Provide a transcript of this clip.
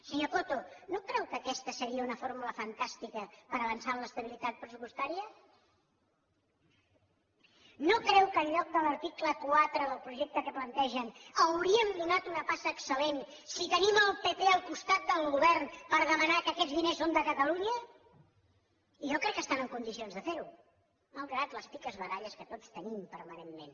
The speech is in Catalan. senyor coto no creu que aquesta seria una fórmula fantàstica per avançar en l’estabilitat pressupostària no creu que en lloc de l’article quatre del projecte que plantegen hauríem donat una passa excel·lent si tenim el pp al costat del govern per demanar que aquests diners són de catalunya jo crec que estan en condicions de fer ho malgrat les picabaralles que tots tenim permanentment